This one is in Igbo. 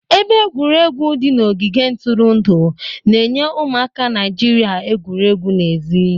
Ebe egwuregwu di n'ogige ntụrụndụ na-enye ụmụaka Naijiria egwuregwu n'èzí.